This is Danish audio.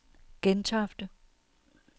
Gentofte